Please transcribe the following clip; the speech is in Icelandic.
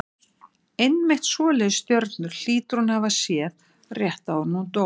Einmitt svoleiðis stjörnur hlýtur hún að hafa séð rétt áður en hún dó.